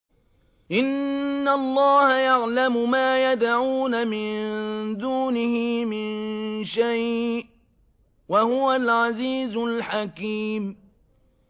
إِنَّ اللَّهَ يَعْلَمُ مَا يَدْعُونَ مِن دُونِهِ مِن شَيْءٍ ۚ وَهُوَ الْعَزِيزُ الْحَكِيمُ